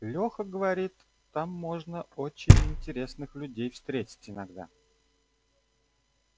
лёха говорит там можно очень интересных людей встретить иногда